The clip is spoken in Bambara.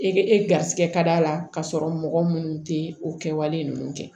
E e garisɛgɛ ka d'a la k'a sɔrɔ mɔgɔ minnu tɛ o kɛwale ninnu kɛ